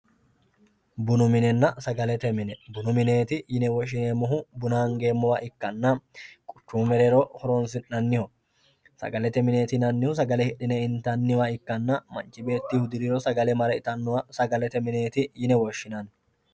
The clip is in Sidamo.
bunu minenna sagalete mine bunu mineeti yineemmohu buna angeemmowa ikkanna quchumu mereero horonsi'nanniho sagalete mineeti yinannihu sagale hidhine intanniwa ikkanna manchi beetti hudiriro mare sagale itannowa sagalete mineeti yine woshshinanni.